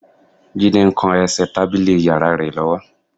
Jídé ń kan ẹsẹ̀ tábìlì yàrá rẹ̀ lọ́wọ́